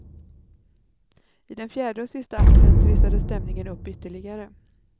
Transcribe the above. I den fjärde och sista akten trissades stämningen upp ytterligare.